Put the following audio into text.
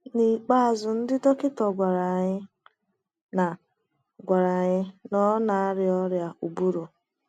N’ikpeazụ ndị dọkịta gwara anyị na gwara anyị na ọ na arịa ọrịa ụbụrụ.